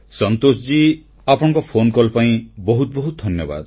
ସନ୍ତୋଷଜୀ ଆପଣଙ୍କ ଫୋନକଲ୍ ପାଇଁ ବହୁତ ବହୁତ ଧନ୍ୟବାଦ